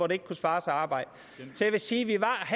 det ikke kunne svare sig at arbejde så jeg vil sige